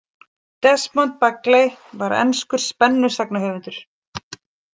Desmond Bagley var enskur spennusagnahöfundur.